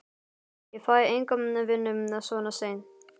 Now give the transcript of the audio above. Ég fæ enga vinnu svona seint.